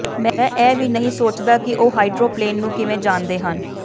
ਮੈਂ ਇਹ ਵੀ ਨਹੀਂ ਸੋਚਦਾ ਕਿ ਉਹ ਹਾਈਡ੍ਰੋਪਲੇਨ ਨੂੰ ਕਿਵੇਂ ਜਾਣਦੇ ਹਨ